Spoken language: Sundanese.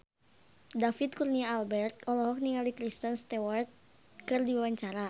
David Kurnia Albert olohok ningali Kristen Stewart keur diwawancara